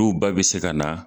N'u ba be se ka na